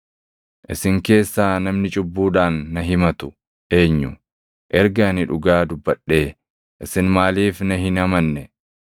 Isin keessaa namni cubbuudhaan na himatu eenyu? Erga ani dhugaa dubbadhee, isin maaliif na hin amanne?